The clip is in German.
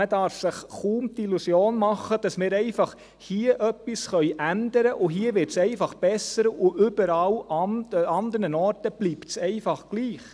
Man darf sich kaum die Illusion machen, dass wir hier einfach etwas ändern können, und hier wird es dann einfach besser und an allen anderen Orten bleibt es einfach gleich.